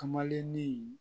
Kamalennin